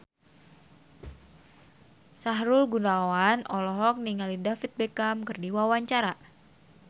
Sahrul Gunawan olohok ningali David Beckham keur diwawancara